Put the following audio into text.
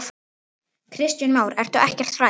Kristján Már: Ertu ekkert hrædd?